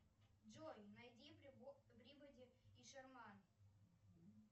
джой найди пибоди и шерман